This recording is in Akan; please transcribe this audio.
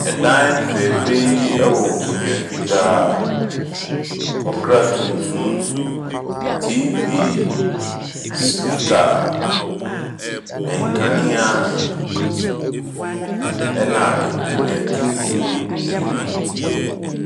Ɛdan fɛɛfɛ yi wɔ nkonnwa fitaa, ɔkra tuntum, TV, speaker, nkanea, na nkonnwa tutum mmienu.